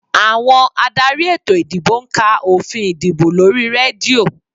Àwọn adarí ètò ìdìbò ń ka òfin ìdìbò lórí rédíò